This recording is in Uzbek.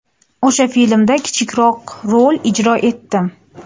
O‘sha filmda kichikroq rolni ijro etdim.